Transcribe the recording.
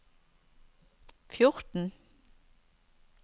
fjorten